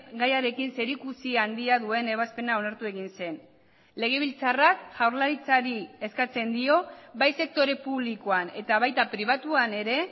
gaiarekin zerikusi handia duen ebazpena onartu egin zen legebiltzarrak jaurlaritzari eskatzen dio bai sektore publikoan eta baita pribatuan ere